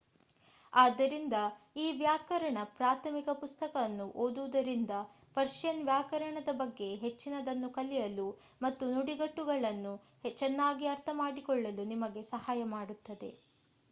ಆದ್ದರಿಂದ ಈ ವ್ಯಾಕರಣ ಪ್ರಾಥಮಿಕ ಪುಸ್ತಕ ಅನ್ನು ಓದುವುದರಿಂದ ಪರ್ಷಿಯನ್ ವ್ಯಾಕರಣದ ಬಗ್ಗೆ ಹೆಚ್ಚಿನದನ್ನು ಕಲಿಯಲು ಮತ್ತು ನುಡಿಗಟ್ಟುಗಳನ್ನು ಚೆನ್ನಾಗಿ ಅರ್ಥಮಾಡಿಕೊಳ್ಳಲು ನಿಮಗೆ ಸಹಾಯ ಮಾಡುತ್ತದೆ